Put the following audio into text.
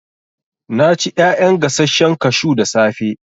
Na ci ƴaƴan gasashen kashu da safe